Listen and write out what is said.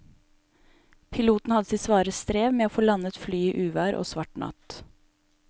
Piloten hadde sitt svare strev med å få landet flyet i uvær og svart natt.